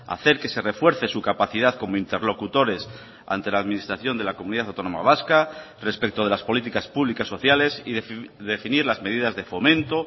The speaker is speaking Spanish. hacer que se refuerce su capacidad como interlocutores ante la administración de la comunidad autónoma vasca respecto de las políticas públicas sociales y definir las medidas de fomento